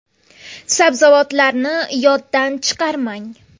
Sabzavotlarni yoddan chiqarmang.